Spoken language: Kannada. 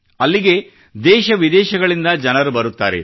ಅಲ್ಲಿಗೆ ದೇಶವಿದೇಶಗಳಿಂದ ಜನರು ಬರುತ್ತಾರೆ